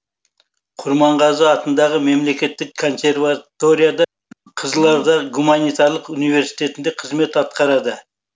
құрманғазы атындағы мемлекеттік консерваторияда қызылорда гуманитарлық университетінде қызмет атқарды